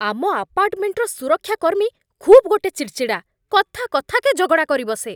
ଆମ ଆପାର୍ଟମେଣ୍ଟର ସୁରକ୍ଷାକର୍ମୀ ଖୁବ୍ ଗୋଟେ ଚିଡ଼ଚିଡ଼ା, କଥା କଥାକେ ଝଗଡ଼ା କରିବସେ।